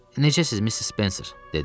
Necəsiz Missis Spencer?